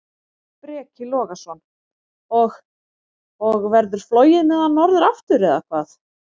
Breki Logason: Og, og verður flogið með hann norður aftur, eða hvað?